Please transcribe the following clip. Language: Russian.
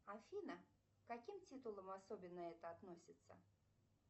афина к каким титулам особенно это относится